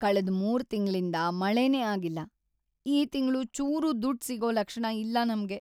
ಕಳೆದ್ ಮೂರ್ ತಿಂಗ್ಳಿಂದ ಮಳೆನೇ ಆಗಿಲ್ಲ. ಈ ತಿಂಗ್ಳು ಚೂರೂ ದುಡ್ಡ್‌ ಸಿಗೋ ಲಕ್ಷಣ ಇಲ್ಲ ನಮ್ಗೆ.